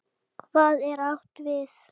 Hvað er átt við?